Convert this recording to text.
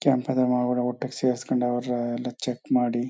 ಸೆರ್ಸ್ಕೊಂಡ್ ಅವರ ಎಲ್ಲ ಚೆಕ್ ಮಾಡಿ.